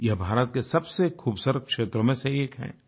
यह भारत के सबसे खुबसूरत क्षेत्रों में से एक है